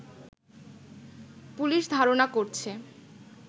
police ধারনা করছে